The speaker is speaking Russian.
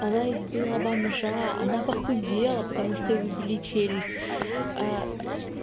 она избила бомжа она похудела потому что ей выбили челюсть